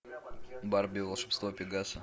барби волшебство пегаса